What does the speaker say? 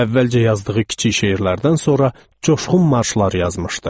Əvvəlcə yazdığı kiçik şeirlərdən sonra coşqun marşlar yazmışdı.